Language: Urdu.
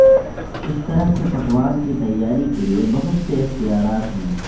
اس طرح کے پکوان کی تیاری کے لئے بہت سے اختیارات ہیں